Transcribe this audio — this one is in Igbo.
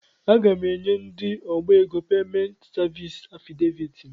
Aga m enye ndị ọbá égo peement sevins afịdeviiti m.